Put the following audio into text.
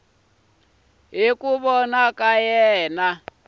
hi ku vona ka yena